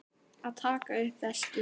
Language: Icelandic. Að taka upp veskið.